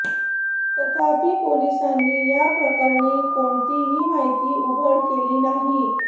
तथापि पोलिसांनी या प्रकरणी कोणतीही माहिती उघड केली नाही